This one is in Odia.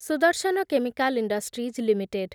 Sudarshan chemical industries limited